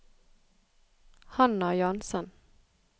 Hannah Jahnsen